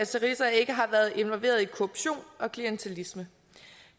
syriza ikke har været involveret i korruption og klientilisme